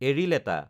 এৰিলেটা